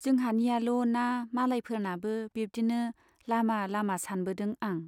जोंहानियाल' ना मालायफोरनाबो बिब्दिनो लामा लामा सानबोदों आं।